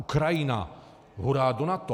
Ukrajina - hurá do NATO!